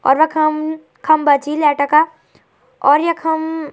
और वखम खम्बा छी लाइट का और यखम --